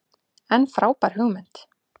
En frábær hugmynd.